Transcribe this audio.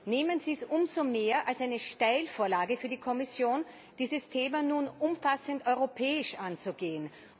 Nehmen Sie es umso mehr als eine Steilvorlage für die Kommission, dieses Thema nun umfassend europäisch anzugehen.